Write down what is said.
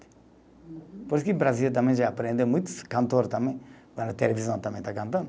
Uhum. Por isso que o Brasil também já aprende, muitos cantores também, na televisão também está cantando,